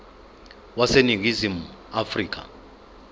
wase ningizimu afrika